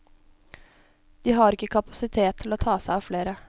De har ikke kapasitet til å ta seg av flere.